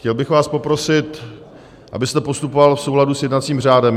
Chtěl bych vás poprosit, abyste postupoval v souladu s jednacím řádem.